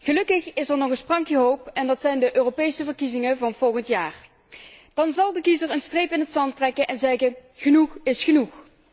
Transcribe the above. Gelukkig is er nog een sprankje hoop en dat zijn de Europese verkiezingen van volgend jaar. Dan zal de kiezer een streep in het zand trekken en zeggen genoeg is genoeg!